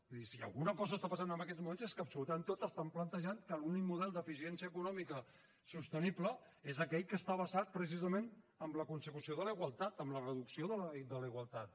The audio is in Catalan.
és a dir si alguna cosa està passant en aquests moments és que absolutament tots estan plantejant que l’únic model d’eficiència econòmica sostenible és aquell que està basat precisament en la consecució de la igualtat amb la reducció de la igualtat